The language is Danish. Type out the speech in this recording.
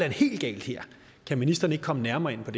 helt galt her kan ministeren ikke komme nærmere ind på